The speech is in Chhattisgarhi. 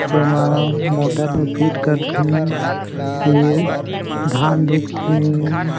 एमा मोटर में फिट करथे फिर धान धुकथे।